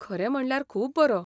खरें म्हणल्यार खूब बरो.